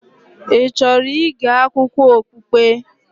Ị chọrọ ịge akụkọ okpukpe?